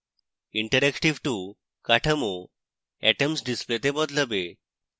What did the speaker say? interactive 2 কাঠামো atoms ডিসপ্লেতে বদলাবে